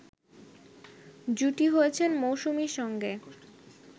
জুটি হয়েছেন মৌসুমীর সঙ্গে